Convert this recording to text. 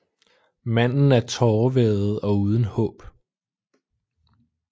Manden er tårevædet og uden håb